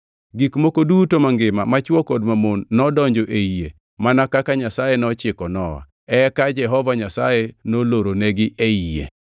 Gik moko duto mangima machwo kod mamon nodonjo ei yie mana kaka Nyasaye nochiko Nowa. Eka Jehova Nyasaye noloronegi ei yie.